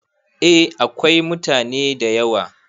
A akwai mutane da yawa